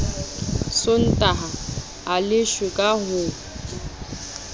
sontaha a leshwe ka ho